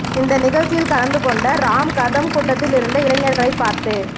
இந்த நிகழ்ச்சியில் கலந்து கொண்ட ராம் கதம் கூட்டத்தில் இருந்த இளைஞர்களை பார்த்து